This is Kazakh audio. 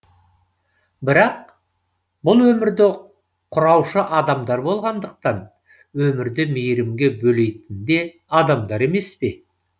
бірақ бұл өмірді құраушы адамдар болғандықтан өмірді мейірімге бөлейтінде адамдар емес пе